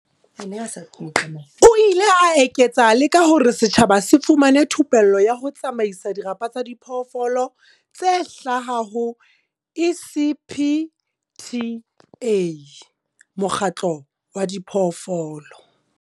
O ile a eketsa le ka hore setjhaba se fumana thupello ya ho tsamaisa dirapa tsa diphoofolo tse hlaha ho ECPTA. Mokgatlo wa diphoofolo.